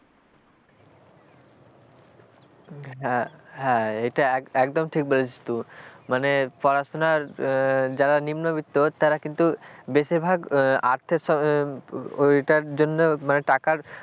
হ্যাঁ হ্যাঁ এটা একদম ঠিক বলেছিস তো মানে পড়াশোনার যারা নিম্নবিত্ত তারা কিন্তু বেশির ভাগ আর ওইটার জন্য মানে টাকার,